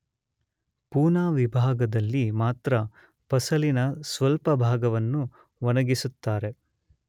ಪೂನಾ ವಿಭಾಗದಲ್ಲಿ ಮಾತ್ರ ಫಸಲಿನ ಸ್ವಲ್ಪ ಭಾಗವನ್ನು ಒಣಗಿಸುತ್ತಾರೆ.